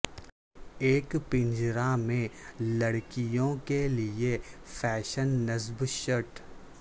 ایک پنجرا میں لڑکیوں کے لئے فیشن نصب شرٹ